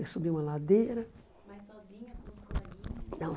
Eu subia uma ladeira da.